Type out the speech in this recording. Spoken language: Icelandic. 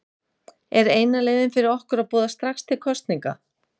Er eina leiðin fyrir okkur að boða strax til kosninga?